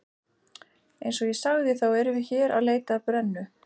Eins og ég sagði, þá erum við hér að leita að brennu